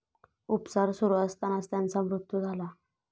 उपचार सुरू असतानाच त्यांचा मृत्यु झाला.